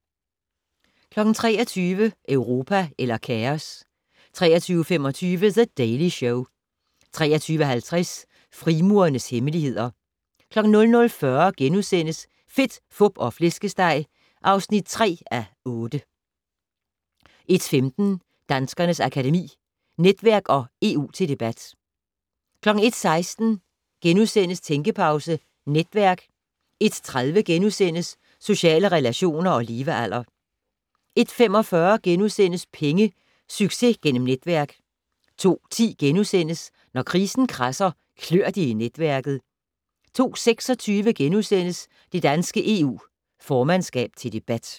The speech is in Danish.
23:00: Europa eller kaos? 23:25: The Daily Show 23:50: Frimurernes hemmeligheder 00:40: Fedt, Fup og Flæskesteg (3:8)* 01:15: Danskernes Akademi: Netværk & EU til debat 01:16: Tænkepause - Netværk * 01:30: Sociale relationer og levealder * 01:45: Penge - Succes gennem netværk * 02:10: Når krisen kradser, klør det i netværket * 02:26: Det danske EU formandskab til debat *